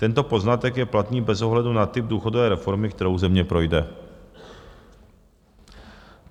Tento poznatek je platný bez ohledu na typ důchodové reformy, kterou země projde.